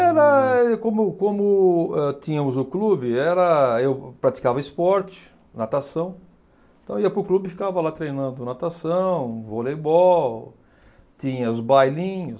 Era como como âh tínhamos o clube, era eu praticava esporte, natação, então ia para o clube e ficava lá treinando natação, voleibol, tinha os bailinhos.